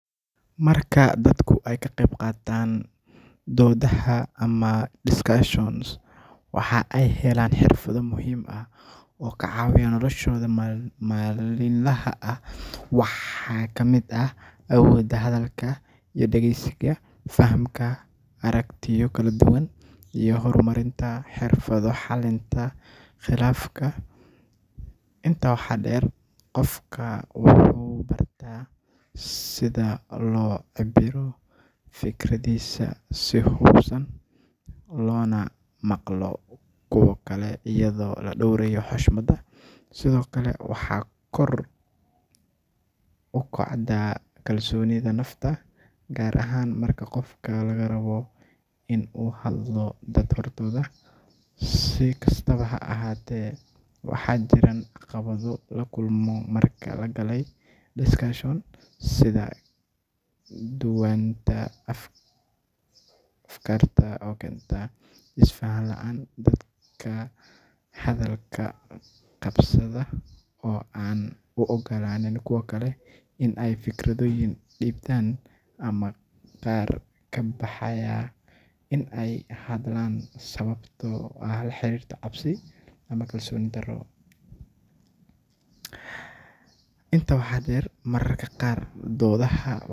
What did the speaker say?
Marka dadku ay ka qayb qaataan doodaha ama discussions waxaa ay helaan xirfado muhiim ah oo ka caawiya noloshooda maalinlaha ah. Waxaa ka mid ah awoodda hadalka iyo dhageysiga, fahamka aragtiyo kala duwan, iyo horumarinta xirfadda xalinta khilaafaadka. Intaa waxaa dheer, qofka wuxuu bartaa sida loo cabbiro fikraddiisa si habaysan, loona maqlo kuwa kale iyadoo la dhowrayo xushmada. Sidoo kale waxaa kor u kacda kalsoonida nafta, gaar ahaan marka qofka laga rabo in uu hadlo dad hortooda. Si kastaba ha ahaatee, waxaa jiraan caqabado la kulmo marka la galay discussion, sida kala duwanaanta afkaarta oo keenta isfahan la'aan, dad hadalka qabsada oo aan u oggolaan kuwa kale in ay fikirkooda dhiibtaan, ama qaar ka baqaya in ay hadlaan sababo la xiriira cabsi ama kalsooni darro. Intaa waxaa dheer, mararka qaar doodaha.